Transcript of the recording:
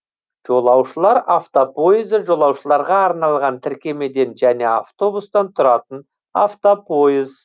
жолаушылар автопойызы жолаушыларға арналған тіркемеден және автобустан тұратын автопойыз